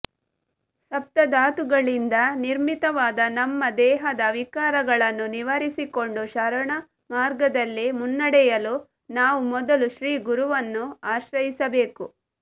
ಸಪ್ತಧಾತುಗಳಿಂದ ನಿರ್ಮಿತವಾದ ನಮ್ಮ ದೇಹದ ವಿಕಾರಗಳನ್ನು ನಿವಾರಿಸಿಕೊಂಡು ಶರಣಮಾರ್ಗದಲ್ಲಿ ಮುನ್ನಡೆಯಲು ನಾವು ಮೊದಲು ಶ್ರೀಗುರುವನ್ನು ಆಶ್ರಯಿಸಬೇಕು